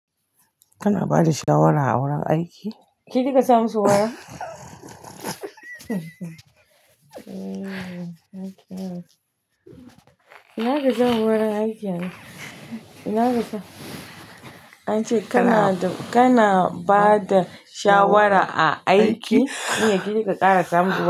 Kana bada shawara a wurin aiki? Ke kika sa musu wayan? Ina kisan wurin aiki ne? Ina kisan? An ce kana, kana bada shawara a aiki, miyi ki kika kara samun.